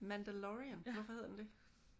Mandalorian. Hvorfor hedder den det?